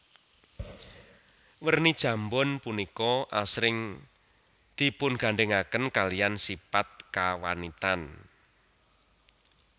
Werni jambon punika asring dipungandhèngaken kaliyan sipat kawanitan